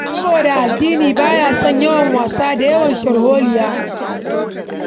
Saboda addini ba ya son yawan wasa da yawan sharholiya.